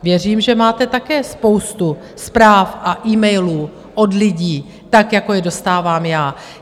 Věřím, že máte také spoustu zpráv a e-mailů od lidí, jako je dostávám já.